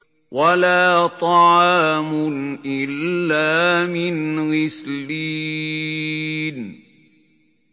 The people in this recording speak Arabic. وَلَا طَعَامٌ إِلَّا مِنْ غِسْلِينٍ